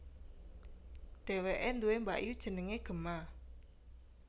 Dheweke duwé mbakyu jenenge Gemma